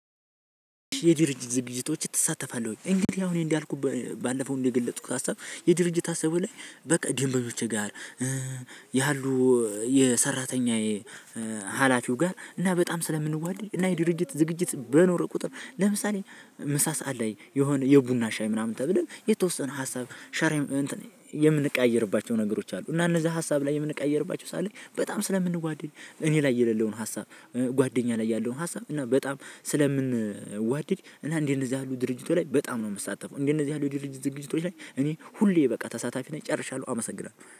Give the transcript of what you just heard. የድርጅት ዝግጅቶች ትሳተፋለህ ወይ? እንግዲህ አሁን እኔ እንዳልኩ ባለፈው እንደገለጽኩት ሀሳብ የድርጅት ሀሳቡ ላይ በቃ ደንበኞቼ ጋር ያሉ የሰራተኛዬ ሀላፊው ጋር እና በጣም ስለምንዋደድ እና የድርጅት ዝግጅት በኖረው ቁጥር ለምሳሌ ምሳ ሰዓት ላይ የሆነ የቡና ሻይ ምናምን ተብለን የተወሰነ ሀሳብ የምንቀያይርባቸው ነገሮች አሉ እና እነዛ ሀሳብ ላይ የምንቀያይርባቸው ሰዓት ላይ በጣም ስለምንዋደድ እኔ ላይ የሌለውን ሀሳብ ጓደኛ ላይ ያለውን ሀሳብ እና በጣም ስለምንዋደድ እና እንደ እነዚህ ያሉ ድርጅቶች ላይ በጣም ነው የምሳተፈው። እና እንደነዚህ ያሉ ድርጅቶች ዝግጅቶች ላይ እኔ ሁሌ በቃ ተሳታፊ ነኝ። ጨርሻለው አመሰግናለሁ።